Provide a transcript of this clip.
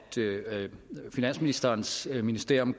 finansministerens ministerium